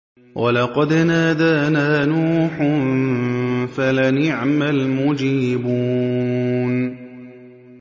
وَلَقَدْ نَادَانَا نُوحٌ فَلَنِعْمَ الْمُجِيبُونَ